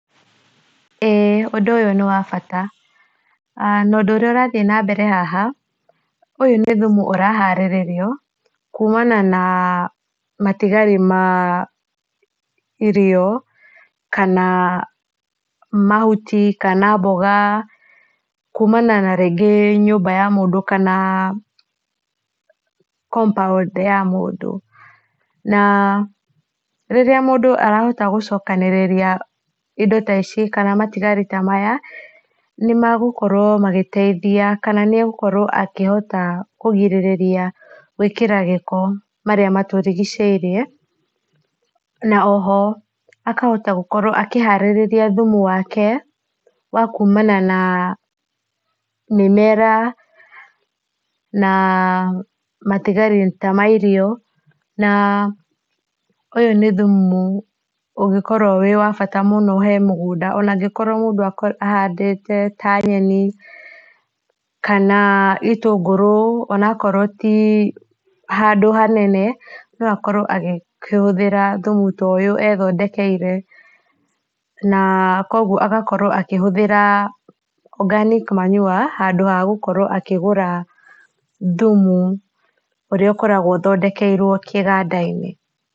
Ũndũ ũyũ nĩ wa bata na ũndũ ũrĩa ũrathiĩ na mbere haha, ũyũ nĩ thumu ũraharĩrĩrio kumana na matigari ma irio, kana mahuti, kana mboga, kumana na nyũmba ya mũndũ kana compound ya mũndũ na rĩrĩa mũndũ arahota gũchokanĩrĩria indo ta ici, kana matigari ta maya nĩ magũkorwo magĩteithia kana nĩegũkorwo akĩhota kũrĩgĩrĩria gwĩkĩra gĩko marĩa matũrigicĩirie, na o ho akahota gũkorwo akĩharĩria thumu wake wakumana na mĩmera na matigari ta ma irio, na ũyũ nĩ thumu ũngĩkorwo wĩ wa bata mũno harĩ mũgũnda ona angĩkorwo ahandĩte ta nyeni, kana itũngũrũ ona korwo ti handũ hanene no akorwo agĩkĩhũthĩra thumu ta ũyũ ethondekire, na koguo agakorwo akĩhũthĩra organic manure handũ ha gũkorwo akĩgũra thumu ũrĩa ũkoragwo ũthondekeirwo kĩganda-inĩ.